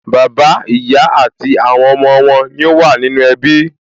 Bàbá, ìyá àti àwọn ọmọ wọn ní ó wà nínú ẹbí